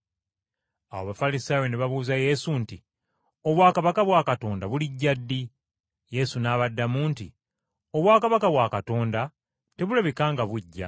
Awo Abafalisaayo ne babuuza Yesu nti, “Obwakabaka bwa Katonda bulijja ddi?” Yesu n’abaddamu nti, “Obwakabaka bwa Katonda tebulabika nga bujja,